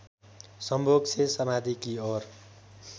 संभोग से समाधि की ओर